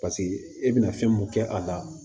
Paseke e bɛna fɛn mun kɛ a la